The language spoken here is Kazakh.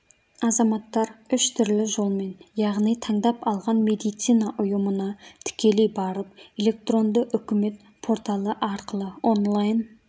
азаматтар үш түрлі жолмен яғни таңдап алған медицина ұйымына тікелей барып электронды үкімет порталы арқылы онлайн